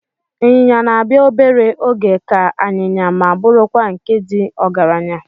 Ịnyịnya na-abịa obere oge ka anyịnya ma bụrụkwa nke ndị ọgaranya.